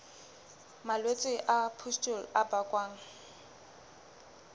malwetse a pustule a bakwang